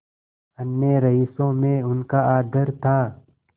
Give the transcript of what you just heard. अन्य रईसों में उनका आदर था